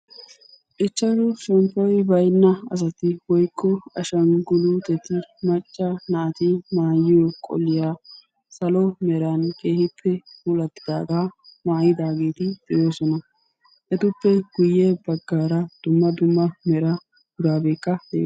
Ichchashshu ashshanggulutetti maca asaa maayuwa maayiddi beettosonn. Etta matan daro maayotti de'osonna.